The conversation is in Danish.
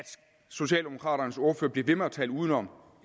socialdemokraternes ordfører bliver ved med at tale udenom